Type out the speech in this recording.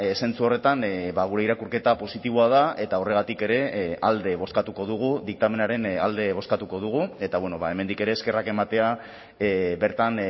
zentzu horretan gure irakurketa positiboa da eta horregatik ere alde bozkatuko dugu diktamenaren alde bozkatuko dugu eta hemendik ere eskerrak ematea bertan